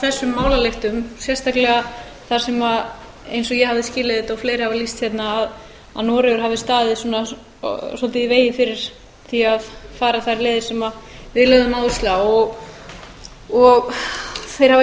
heyra af þessum málalyktum sérstaklega þar sem eins og ég hafði skilið þetta og fleiri hafa lýst hérna að noregur hafi staðið svolítið í vegi fyrir því að fara þær leiðir sem við lögðum áherslu á og betri hafi